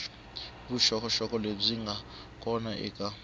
vuxokoxoko lebyi nga kona eka